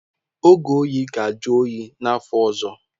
Oge oyi ga-ajụ oyi n'afọ ọzọ.